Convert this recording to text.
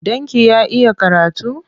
Ɗanki ya iya karatu?